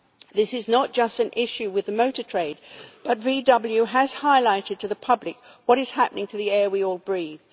This is not just an issue with the motor trade, but VW has highlighted to the public what is happening to the air we all breathe.